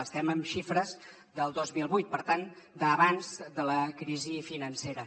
estem en xifres del dos mil vuit per tant d’abans de la crisi financera